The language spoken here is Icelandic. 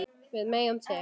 Við megum til.